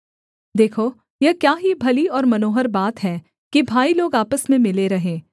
देखो यह क्या ही भली और मनोहर बात है कि भाई लोग आपस में मिले रहें